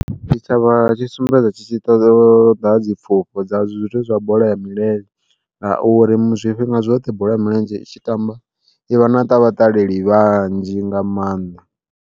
Tshitshavha tshi sumbedza tshi ḓo ṱoḓa dzi pfufho dza zwithu zwa bola ya milenzhe, ngauri zwifhinga zwoṱhe bola ya milenzhe i tshi tamba ivha na vhaṱaleli vhanzhi nga maanḓa.